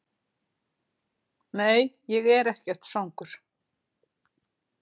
Nei, ég er ekkert svangur.